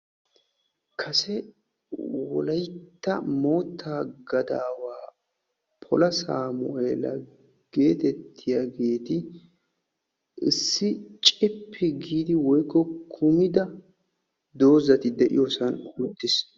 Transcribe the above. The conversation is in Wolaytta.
kase wolaytta moottaa gadawa pola sameela getettiyaageeti issi cippi giidi woykko kummida doozati de'iyoosan uttiis.